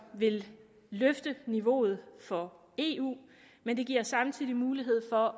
vil løfte niveauet for eu men det giver samtidig mulighed for